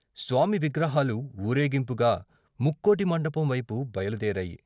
స్వామి విగ్రహాలు వూరేగింపుగా ముక్కోటి మంటపం వైపు బయలు దేరాయి.